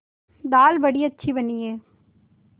दाल बड़ी अच्छी बनी है